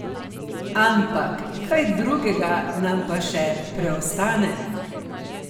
Ampak kaj drugega nam pa še preostane?